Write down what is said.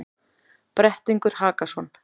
Brettingur Hakason,